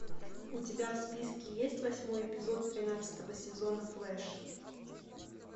у тебя в списке есть восьмой эпизод тринадцатого сезона флэш